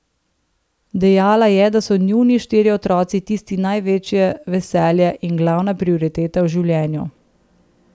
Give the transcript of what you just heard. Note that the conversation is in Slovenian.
Dejala je, da so njuni štirje otroci tisti največje veselje in glavna prioriteta v življenju.